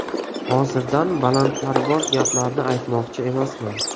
Hozirdan balandparvoz gaplarni aytmoqchi emasman.